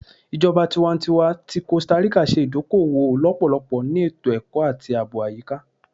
Ijọba tiwantiwa ti Costa Rica ṣe idoko-owo lọpọlọpọ ni eto-ẹkọ ati aabo ayika